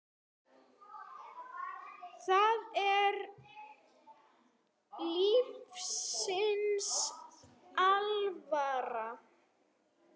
Það er lífsins alvara.